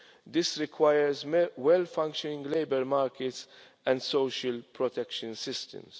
This requires well functioning labour markets and social protection systems.